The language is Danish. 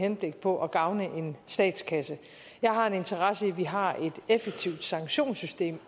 henblik på at gavne statskassen jeg har en interesse i at vi har et effektivt sanktionssystem